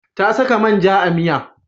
Ta saka man ja a miya.